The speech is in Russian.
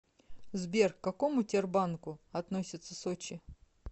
сбер к какому тербанку относится сочи